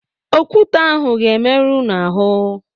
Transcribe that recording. Okwute ahụ ga-emerụ unu ahụ.